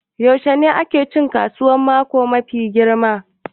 Yaushe ne ake cin kasuwar mako mafi girma